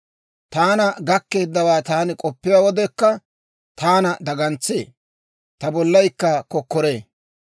Taana gakkeeddawaa taani k'oppiyaa wodekka, taana dagantsee; ta bollaykka kokkoree.